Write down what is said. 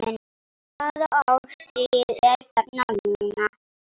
Hvaða árstíð er þarna núna?